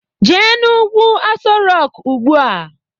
Jee n'ugwu Aso Rọk ugbua!